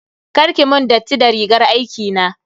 Kar ki mun datti da rigar aikina.